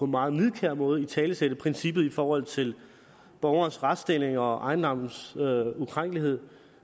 meget nidkær måde at italesætte princippet i forhold til borgerens retsstilling og ejendommens ukrænkelighed